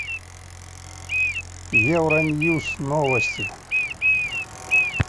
евроньюс новости